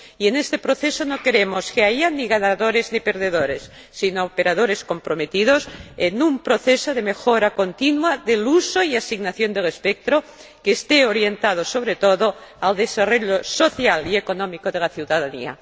Y en este proceso no queremos que haya ni ganadores ni perdedores, sino operadores comprometidos en un proceso de mejora continua del uso y asignación del espectro, que esté orientado sobre todo al desarrollo social y económico de la ciudadanía.